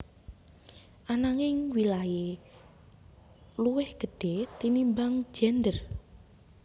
Ananging wilahé luwih gedhé tinimbang gendèr